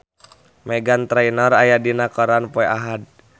Meghan Trainor aya dina koran poe Ahad